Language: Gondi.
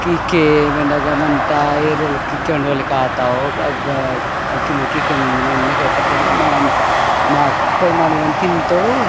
की के मेंदगमंता ये रेलो कीके कोंडल केताओ अग किकेन नके प्रचार मै मके कोई माने मन तीन तोडू।